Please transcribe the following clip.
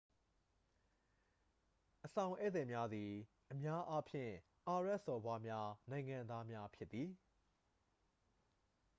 အဆောင်ဧည့်သည်များသည် အများအားဖြင့် အာရဗ်စော်ဘွားများ နိုင်ငံသားများဖြစ်သည်